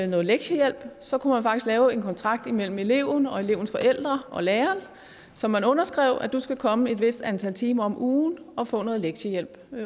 noget lektiehjælp så kunne man faktisk lave en kontrakt imellem eleven og elevens forældre og læreren som man underskrev og at du skal komme et vist antal timer om ugen og få noget lektiehjælp